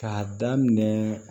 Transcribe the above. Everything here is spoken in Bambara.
K'a daminɛ